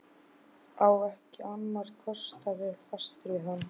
Á ekki annarra kosta völ, fastur við hana.